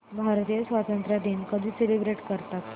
भारतीय स्वातंत्र्य दिन कधी सेलिब्रेट करतात